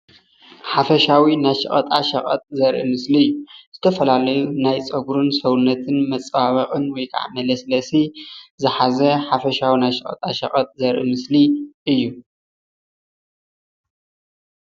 ሓፈሻዊ ናይ ሸቀጣሸቀጥ ዘርኢ ምስሊ እዩ። ዝተፈላለዩ ናይ ፀጉርን ሰውነትን መፀባበቅን ወይከዓ መለስለሲ ዝሓዘ ሓፈሻዊ ናይ ሸቀጣ ሸቀጥ ዘርኢ ምስሊ እዩ፡፡